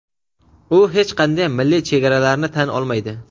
u hech qanday milliy chegaralarni tan olmaydi.